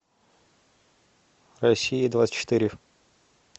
россия двадцать четыре